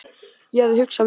Ég hafði hugsað mér það.